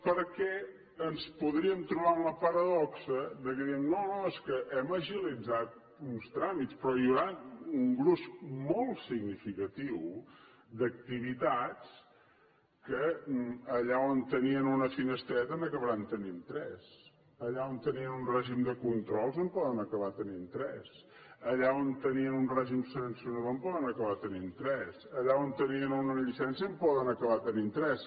perquè ens podríem trobar amb la paradoxa que diem no no és que hem agilitzat uns tràmits però hi haurà un gruix molt significatiu d’activitats que allà on tenien una finestreta n’acabaran tenint tres allà on tenien un règim de control en poden acabar tenint tres allà on tenien un règim sancionador en poden acabar tenint tres allà on tenien una llicència en poden acabar tenint tres